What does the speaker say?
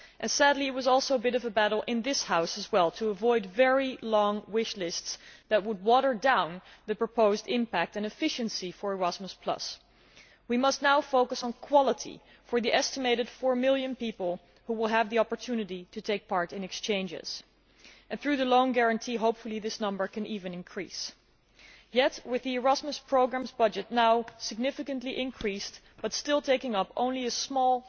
Sadly, there was also a bit of a battle in this House to avoid very long wish lists that would water down the proposed impact and efficiency of Erasmus Plus. We must now focus on quality for the estimated four million people who will have the opportunity to take part in exchanges, and hopefully that number will even increase, through the loan guarantee. Yet with the Erasmus Programme's budget now significantly increased but still taking up only a small